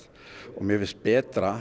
mér finnst betra